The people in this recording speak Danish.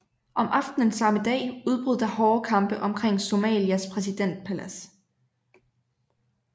Om aftenen samme dag udbrød der hårde kampe omkring Somalias præsidentpalads